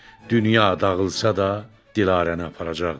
Dünya dağılsa da Dilarəni aparacaqdı.